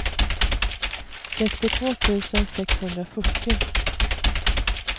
sextiotvå tusen sexhundrafyrtio